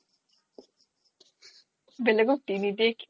বেলেগক দি নিদিয়ে কিয়